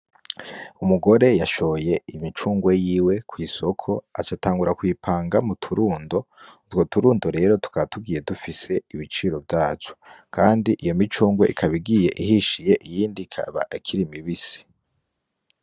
Umugore yashoye imicungwe yiwe kw'isoko aca atangura kuyipanga mu turundo, utwo turundo rero tukaba tugiye dufise ibiciro vyatwo, kandi iyo micungwe igiye ihishiye iyindi ikaba ikiri mibisi.